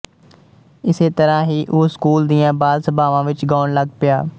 ਇਸੇ ਤਰਾਂ ਹੀ ਉਹ ਸਕੂਲ ਦੀਆਂ ਬਾਲ ਸਭਾਵਾਂ ਵਿੱਚ ਗਾਉਣ ਲੱਗ ਪਿਆ